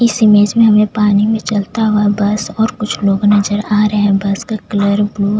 इस इमेज में हमे पानी में चलता हुआ बस और लोग नज़र आ रहे है बस का कलर ब्लू --